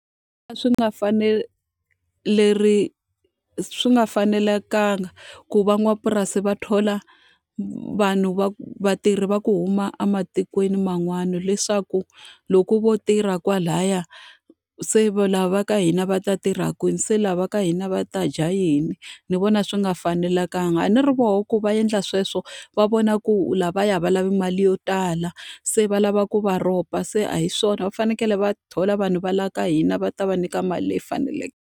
A swi a swi nga fanelekangi ku van'wamapurasi va thola vanhu va vatirhi va ku huma ematikweni man'wana. Leswaku loko vo tirha kwalaya, se lava ka hina va ta tirha kwini? Se lava ka hina va ta dya yini? Ni vona swi nga fanelekangi. A ni ri vona ku va endla sweswo, va vona ku u lavaya va lavi mali yo tala, se va lava ku va rhoba, se a hi swona. Va fanekele va thola vanhu va laha ka hina va ta va nyika mali leyi faneleke.